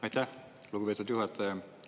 Aitäh, lugupeetud juhataja!